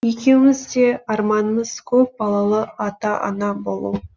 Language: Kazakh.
екеумізде арманымыз көп балалы ата ана болу